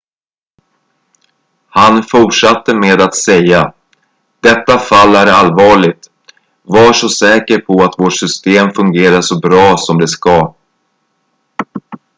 "han fortsatte med att säga: "detta fall är allvarligt. var så säker på att vårt system fungerar så bra som det ska.""